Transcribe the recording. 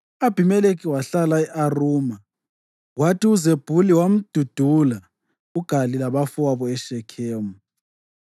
U-Abhimelekhi wahlala e-Aruma, kwathi uZebhuli wamdudula uGali labafowabo eShekhemu.